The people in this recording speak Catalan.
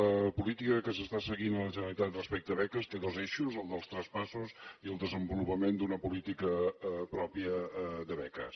la política que s’està seguint a la generalitat respecte a beques té dos eixos el dels traspassos i el desenvolupament d’una política pròpia de beques